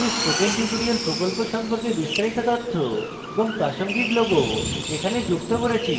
আমি spoken tutorial প্রকল্প সম্পর্কে বিস্তারিত তথ্য এবং প্রাসঙ্গিক logos এখানে যুক্ত করেছি